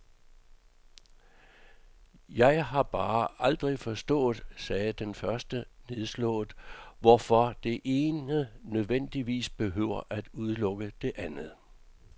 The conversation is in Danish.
Jeg har bare aldrig forstået, sagde den første nedslået, hvorfor det ene nødvendigvis behøver at udelukke det andet.